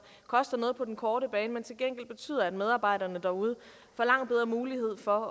koster noget på den korte bane men som til gengæld betyder at medarbejderne derude får langt bedre mulighed for